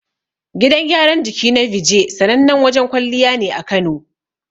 Gidan gyaran jiki na Beejay, sanannen wajen kwalliya ne a Kano.